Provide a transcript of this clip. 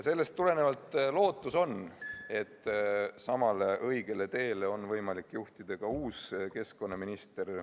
Sellest tulenevalt on lootus, et samale õigele teele on võimalik juhtida ka uus keskkonnaminister.